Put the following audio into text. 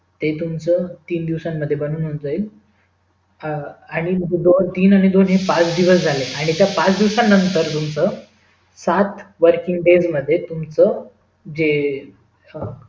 ते तुम्हचा तीन दिवसांमध्ये बनून जाईल दोन आणि तीन असे पाच दिवस झाले आणि त्या पाच दिवस नंतर तुम्हचा सात working days मध्ये तुम्हचा जे